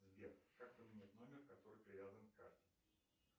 сбер как поменять номер который привязан к карте